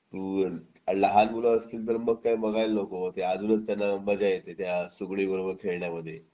आणि लहान मुलं असतील तर मग बघायलाच नको ते अजूनच त्यांना मजा त्या सुगडी बरोबर खेळण्यांमध्ये